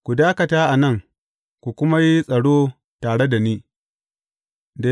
Ku dakata a nan, ku kuma yi tsaro tare da ni.